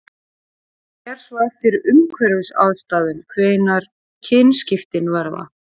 Það fer svo eftir umhverfisaðstæðum hvenær kynskiptin verða.